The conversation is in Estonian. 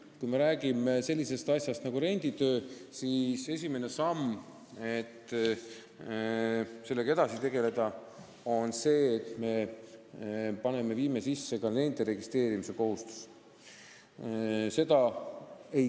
Kui me räägime sellisest asjast nagu renditöö, siis esimene samm sellega tegelemisel on see, et me viime sisse ka nende registreerimise kohustuse.